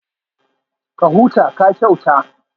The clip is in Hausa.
Ka huta, ka kyauta